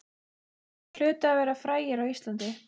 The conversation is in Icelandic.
Þeir hlutu að vera frægir á Íslandi.